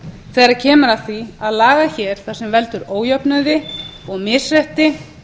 þegar kemur að því að laga hér það sem veldur ójöfnuði og misrétti